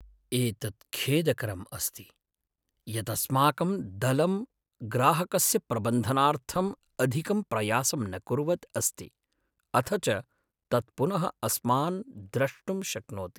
एतत् खेदकरम् अस्ति यत् अस्माकं दलं ग्राहकस्य प्रबन्धनार्थम् अधिकं प्रयासं न कुर्वद् अस्ति, अथ च तत् पुनः अस्मान् द्रष्टुं शक्नोति।